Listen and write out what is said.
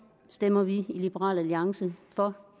stemmer vi i liberal alliance for